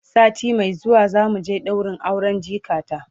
sati Mai zuwa zamu je ɗaurin auren jikata